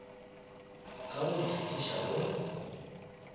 ka go di fihliša go